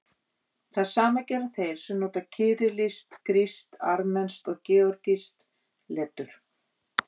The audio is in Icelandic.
Það sama gera þeir sem nota kyrillískt, grískt, armenskt og georgískt letur.